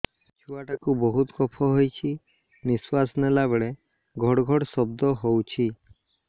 ଛୁଆ ଟା କୁ ବହୁତ କଫ ହୋଇଛି ନିଶ୍ୱାସ ନେଲା ବେଳେ ଘଡ ଘଡ ଶବ୍ଦ ହଉଛି